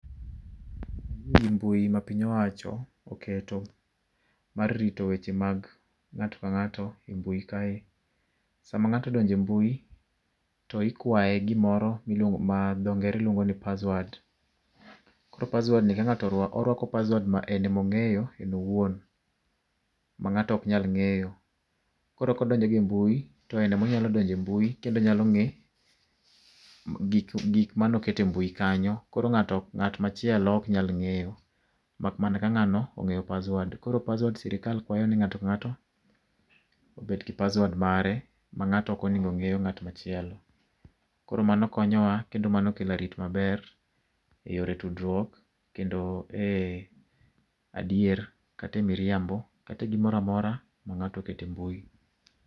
Ayie gi mbui ma piny owacho oketo mar rito weche mag ng'ato ka ng'ato e mbui kae. Sama ng'ato odonjo e mbui, to ikwaye gimoro miluo ma dho ngere luongo ni password. Koro password ni kang'ato oruak oruako password ma en ema ong'eypo en owuon ma ng'ato ok nyal ng'eyo. Koro kodonjo go e mbui, to en ema onyalo donjo e mbui ng'e gik ma oket e mbui kanyo koro ng'ato ng'at machielo ok nyal ng'eyo mak mana ka ng'ano ong'eyo password. Koro password sirkal kwayo ni ng'ato ka ng'ato obed gi password mare ma ng'ato ok onego ng'eyo ng'at machielo. Koro mano konyowa kendo mano kelo arit maber eyore tudruok kendo e adier kata e miriambo kata e gimoro amora ma ng'ato oketo embui.